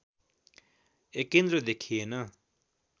एकेन्द्र देखिएन